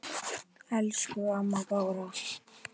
Elsku amma Bára.